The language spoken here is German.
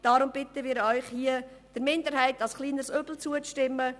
Deshalb bitten wir Sie, dem FiKo-Minderheitsantrag als kleineres Übel zuzustimmen.